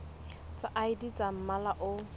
tsa id tsa mmala o